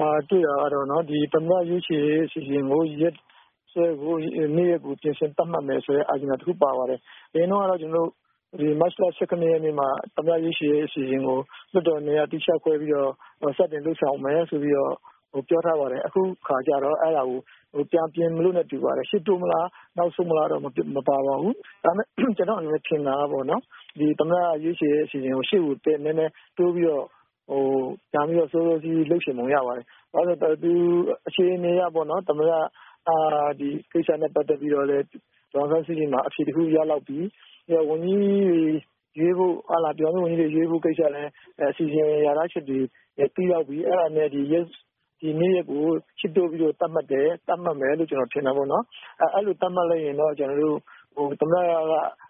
မှာ တွေ့တာကတော့ ဒီသမ္မတ ရွေးချယ်ရေးအစီအစဉ်ကို ရက်စွဲ နေ့ရက်ကို ပြင်ဆင် သက်မှတ်မယ်ဆိုတဲ့ agenda တခုပါပါတယ်။ အရင်တုန်းကတော့ ကျနော်တို့ မတ်လ ၁၇ ရက်နေ့မှာ သမ္မတ ရွေးချယ်ရေးအစီအစဉ်ကို လွှတ်တော် ၂ ရပ် သီးခြားခွဲပြီးတော့ စတင်လုပ်ဆောင်မယ်ဆိုပြီးတော့ ပြောထားပါတယ်။ အခုအခါကျတော့ ပြန်ပြင်မလို့နဲ့တူပါတယ်။ ရှေ့တိုးမလား၊ နောက်ဆုတ်မလားတော့မပါပါဘူး။ ဒါပေမယ့် ကျနော့်အနေနဲ့ ထင်တာကပေါ့နော် ဒီသမ္မတရွေးချယ်ရေးအစီအစဉ်ကို ရှေ့ကို ဒီထက် နည်းနည်းတိုးပြီးတော့ ဒါမျိုးက စောစောစီးစီး လုပ်ချင်ပုံရပါတယ်။ ဘာဖြစ်လို့လဲဆိုတော့ အခြေအနေအရပေါ့နော် ဒီကိစ္စနဲ့ ပတ်သက်ပြီးတော့လည်း ဒေါ်အောင်ဆန်းစုကြည်မှာ အဖြေတခုရလောက်ပြီ၊ ဝန်ကြီးတွေရွေးဖို့ ပြည်ထောင်စု ဝန်ကြီးတွေရွေးဖို့ ကိစ္စလည်း အစီအစဉ် လျာထားချက်တွေ ပြီးလောက်ပြီ။ အဲဒါနဲ့ ဒီနေ့ရက်ကို ရှေ့တိုးပြီးတော့ သက်မှတ်တယ်၊ သက်မှတ်မယ်လို့ ကျနော်ထင်တာပေါ့နော်။ အဲလို သတ်မှတ် လိုက်ရင်တော့ ကျနော်တို့ သမ္မတက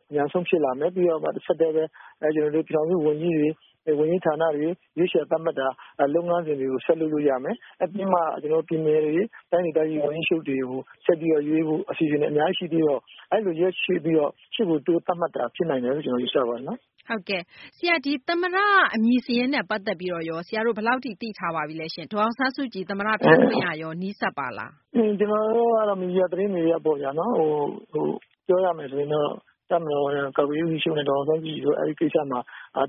အမြန်ဆုံးဖြစ်လာမယ်။ ပြီးတော့မှ တဆက်တည်းပဲ ကျနော်တို့ ပြည်ထောင်စုဝန်ကြီးတွေ၊ ဝန်ကြီး ဌာနတွေ ရွေးချယ် သက်မှတ်တဲ့လုပ်ငန်းစဉ်တွေကို ဆက်လုပ်လို့ရမယ်။ ပြီးမှ ကျနော်တို့ ပြည်နယ်တွေ တိုင်းဒေသကြီး ဝန်ကြီးချုပ်တွေကို ဆက်ပြီးတော့ ရွေးဖို့အစီအစဉ်တွေ အများကြီးရှိပြီးတော့ အဲဒီလို ရက်ရွေ့ပြီးတော့ ရှေ့ကို တိုးသက်မှတ်တာ လို့ ကျနော်ယူဆပါတယ်။ မသိင်္ဂ ီထိုက်။ ။ ဟုတ်ကဲ့ ။ ဆရာ ဒီ သမ္မတ အမည်စာရင်းနဲ့ပတ်သက်ပြီးတော့ရော ဆရာတို့ ဘယ်လောက်ထိ သိထားပါပြီလဲရှင့်။ ဒေါ်အောင်ဆန်းစုကြည် သမ္မတ ဖြစ်ခွင့်ရရော နီးစပ်ပါသလား။ ဦးဖေသန်း။ ။ ကျနော်တို့ကတော့ မီဒီယာ သတင်းတွေ အရပေါ့ဗျာ ပြောရမယ် ဆိုရင်တော့ တပ်မတော် ကာကွယ်ရေး ဦးစီးချုပ်နဲ့ ဒေါ်အောင်ဆန်းစုကြည် တို့ အဲဒီကိစ္စမှာ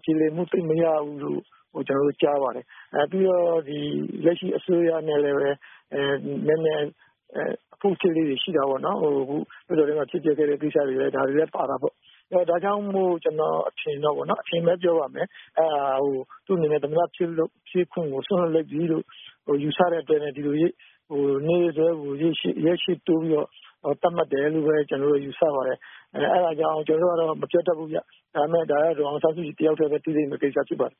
ပြေလည်မှု သိပ်မရဘူးလို့ ကျနော်တို့ ကြားပါတယ်။ ပြီးတော့ ဒီ လက်ရှိအစိုးရနဲ့လည်းပဲ နည်းနည်း အဖုအထစ်လေးတွေရှိတာပေါ့နော်။ ဟိုဘယ်လိုပြောမလဲ ဖြစ်ပျက်ခဲ့တဲ့ ကိစ္စတွေဒါတွေလည်း ပါတာပေါ့။ ဒါကြောင့်မို့လို့ ကျနော်အထင်ကတော့ပေါ့နော် ၊ အထင်ပဲပြောပါမယ် သူ့အနေနဲ့ သမ္မတဖြစ်ခွင့်ကို စွန့်လွတ်လိုက်ပြီလို့ ယူဆတဲ့အတွက်နဲ့ ဒီလိုနေ့စွဲကို ရက်ရှေ့တိုးပြီးတော့ သက်မှတ်တယ်လို့ပဲ ကျနော်တို့ ယူဆပါတယ်။ အဲဒါကြောင့် ကျနော်တို့ကတော့ မပြောတက်ဘူးဗျ။ ဒါပေမယ့် ဒါက ဒေါ်အောင်ဆန်းစုကြည် တယောက်တည်းပဲ သိမယ့်ကိစ္စပဲဖြစ်ပါတ